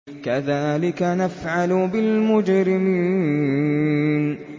كَذَٰلِكَ نَفْعَلُ بِالْمُجْرِمِينَ